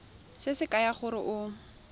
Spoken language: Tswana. se se kaya gore o